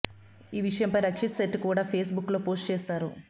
ఈ విషయంపై రక్షిత్ శెట్టి కూడా ఫేస్బుక్ లో పోస్ట్ చేసారు